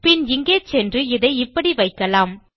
பின் இங்கே சென்று இதை இப்படி வைக்கலாம்